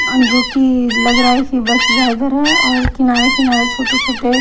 जो कि लग रहा है कि बस ड्राइवर हैऔर किनारे किनारे छोटे-छोटे--